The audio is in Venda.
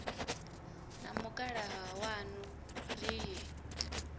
na mukalaha waṋu ri ye